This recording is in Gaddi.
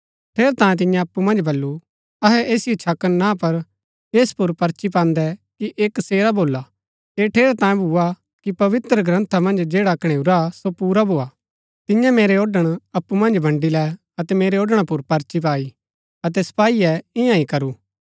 ठेरैतांये तियें अप्पु मन्ज बल्लू अहै ऐसिओ छकन ना पर ऐस पुर पर्ची पान्दै कि ऐह कसेरा भोला ऐह ठेरैतांये भूआ कि पवित्रग्रन्था मन्ज जैडा कणैऊरा सो पुरा भोआ तियें मेरै औढ़ण अप्पु मन्ज बन्ड़ी लै अतै मेरै औढ़णा पुर पर्ची पाई अतै सपाईये ईयां ही करू